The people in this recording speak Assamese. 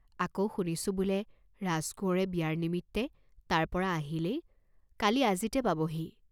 আকৌ শুনিছোঁ বোলে ৰাজকোঁৱৰে বিয়াৰ নিমিত্তে তাৰ পৰা আহিলেই, কালি আজিতে পাবহি।